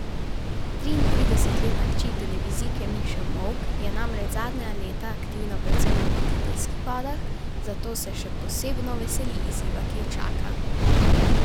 Triintridesetletna hči televizijke Miše Molk je namreč zadnja leta aktivna predvsem v voditeljskih vodah, zato se še posebno veseli izziva, ki jo čaka.